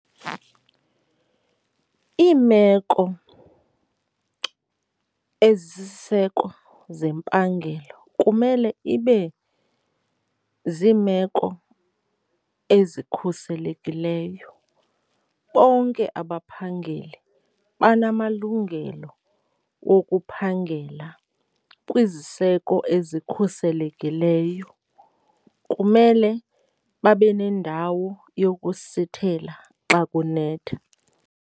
Iimeko ezisisiseko zempangelo kumele ibe ziimeko ezikhuselekileyo. Bonke abaphangeli banamalungelo okuphangela kwiziseko ezikhuselekileyo, kumele babe nendawo yokusithela xa kunetha.